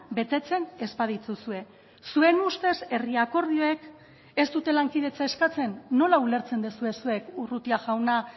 betetzen ez badituzue zuen ustez herri akordioek ez dute lankidetza eskatzen nola ulertzen duzue zuek urrutia jauna